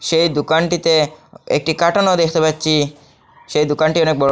সেই দুকানটিতে একটি কাটনও দেখতে পাচ্চি সেই দুকানটি অনেক বড়।